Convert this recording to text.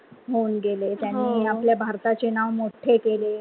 होऊन गेले. त्यांनी आपल्या भारताचे नाव मोठे केले.